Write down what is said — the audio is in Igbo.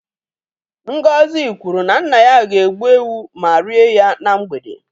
Ngozi kwuru na nna ya ga-egbu ewu ma rie ya na mgbede